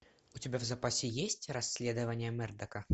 у тебя в запасе есть расследование мердока